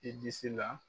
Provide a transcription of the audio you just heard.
I disi la